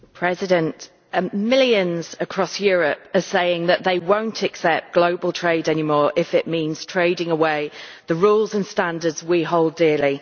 Mr President, millions across Europe are saying that they will not accept global trade any more if it means trading away the rules and standards we hold dearly.